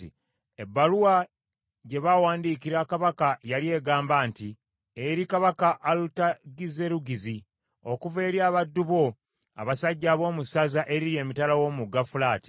Ebbaluwa gye baawandiikira kabaka yali egamba nti, Eri kabaka Alutagizerugizi, Okuva eri abaddu bo abasajja ab’omu ssaza eriri emitala w’omugga Fulaati.